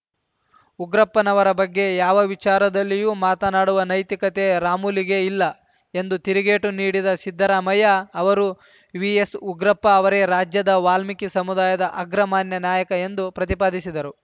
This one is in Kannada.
ಉಗ್ರಪ್ಪನವರ ಬಗ್ಗೆ ಯಾವ ವಿಚಾರದಲ್ಲಿಯೂ ಮಾತನಾಡುವ ನೈತಿಕತೆ ರಾಮುಲುಗೆ ಇಲ್ಲ ಎಂದು ತಿರುಗೇಟು ನೀಡಿದ ಸಿದ್ದರಾಮಯ್ಯ ಅವರು ವಿಎಸ್‌ಉಗ್ರಪ್ಪ ಅವರೇ ರಾಜ್ಯದ ವಾಲ್ಮೀಕಿ ಸಮುದಾಯದ ಅಗ್ರಮಾನ್ಯ ನಾಯಕ ಎಂದು ಪ್ರತಿಪಾದಿಸಿದರು